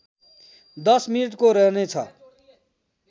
१० मिनेटको रहनेछ